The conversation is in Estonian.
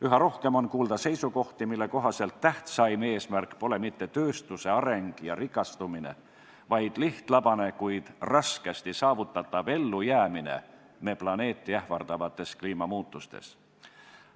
Üha rohkem on kuulda seisukohti, mille kohaselt tähtsaim eesmärk pole mitte tööstuse areng ja rikastumine, vaid lihtlabane, kuid raskesti saavutatav ellujäämine meie planeeti ähvardavates kliimamuutustes.